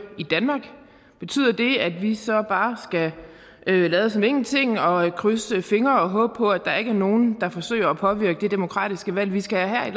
i danmark betyder det at vi så bare skal lade som ingenting og krydse fingre og håbe på at der ikke er nogen der forsøger at påvirke det demokratiske valg vi skal have